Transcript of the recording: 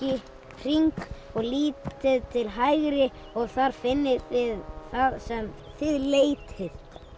hring og lítið til hægri og þar finnið þið það sem þið leitið